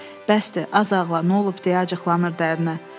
Bəsdir, az ağla, nə olub deyə acıqlanırdı ərinə.